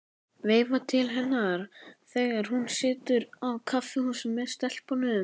Veifa til hennar þegar hún situr á kaffihúsi með stelpunum.